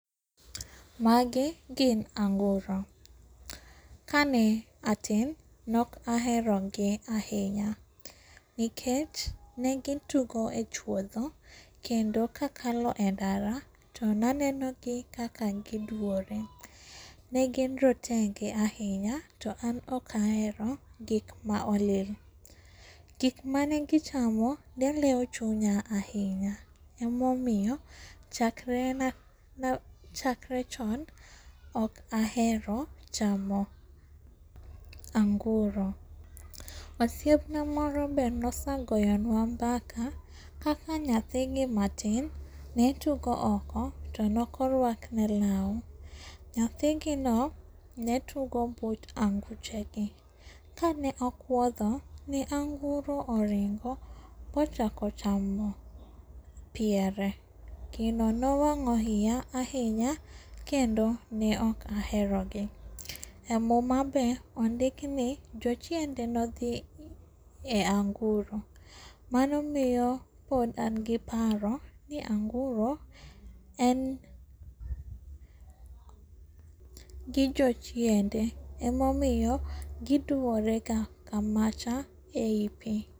Magi gin anguro. Kane atin nok aherogi ahinya, nikech negi tugo e chuodho kendo kakalo e ndara to nanenogi kaka giduore. Negin rotenge ahinya to an okahero gikma olil. Gikmane gichamo neleo chunya ahinya emomiyo chakre chony ok ahero chamo anguro. Osiepna moro be nosegoyonwa mbaka kaka nyathigi matin netugo oko to nokoruakne lau. Nyathigino netugo but anguchegi, kane okwotho ne anguro oringo mochako chamo piere, gino nowang'o iya ahinya kendo ne ok aherogi. E muma be ondikni jochiende nodhi e anguro. Mano miyo pod an gi paro ni anguro en gi jochiende emomiyo giduore kamacha ei pii.